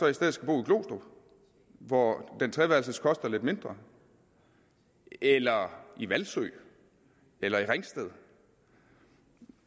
i stedet skal bo i glostrup hvor den treværelses koster lidt mindre eller hvalsø eller i ringsted